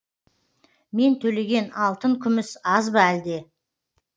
мен төлеген алтын күміс аз ба әлде